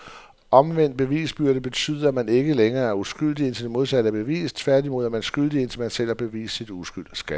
Omvendt bevisbyrde betyder, at man ikke længere er uskyldig indtil det modsatte er bevist, tværtimod, er man skyldig indtil man selv har bevist sin uskyld.